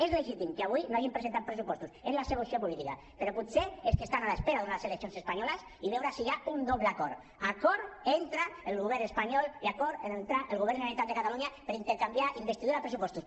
és legítim que avui no hagin presentat pressupostos és la seva opció política però potser és que estan a l’espera d’unes eleccions espanyoles per veure si hi ha un doble acord acord entre el govern espanyol i acord entre el govern de la generalitat de catalunya per intercanviar investidura per pressupostos